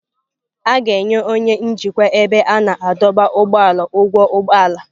A ga-enye onye njikwa ebe a na-adọba ụgbọala ụgwọ ụgbọ ala.